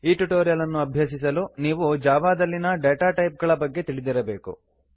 ಈ ಟ್ಯುಟೋರಿಯಲ್ ಅನ್ನು ಅಭ್ಯಸಿಸಲು ನೀವು ಜಾವಾದಲ್ಲಿನ ಡೇಟಾ ಟೈಪ್ಗಳ ಬಗ್ಗೆ ತಿಳಿದಿರಬೇಕು